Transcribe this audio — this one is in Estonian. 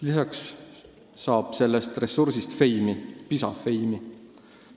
Lisaks saab sellest ressursist fame'i, PISA-fame'i.